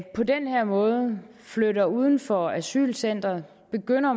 på den her måde flytter uden for asylcentret og begynder